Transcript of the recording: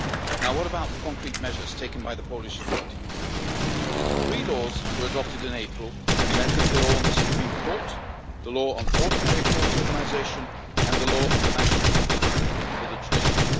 Now what about the concrete measures taken by the Polish authorities? Three laws were adopted in April amending the law on the Supreme Court, the law on ordinary courts organisation and the law on the National Council for the Judiciary.